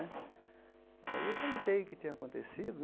Aí eu perguntei o que tinha acontecido né.